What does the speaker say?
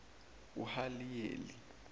uhaliyeli